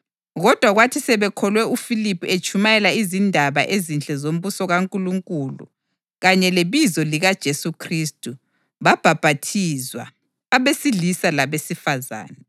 Kodwa kwathi sebekholwe uFiliphu etshumayela izindaba ezinhle zombuso kaNkulunkulu kanye lebizo likaJesu Khristu, babhaphathizwa, abesilisa labesifazane.